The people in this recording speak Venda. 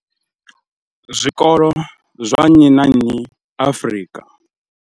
Zwikolo zwa nnyi na nnyi Afrika.